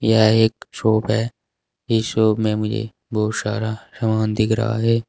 यह एक शॉप है इस शॉप में मुझे बहुत सारा समान दिख रहा है।